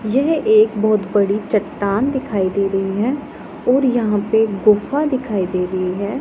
यह एक बहुत बड़ी चट्टान दिखाई दे रही है और यहां पे गुफा दिखाई दे रही है।